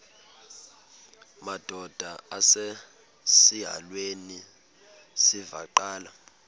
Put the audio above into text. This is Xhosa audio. madod asesihialweni sivaqal